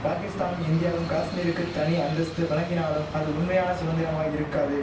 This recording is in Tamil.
பாகிஸ்தானும் இந்தியாவும் காஷ்மீருக்கு தனி அந்தஸ்து வழங்கினாலும் அது உண்மையான சுதந்திரமாய் இருக்காது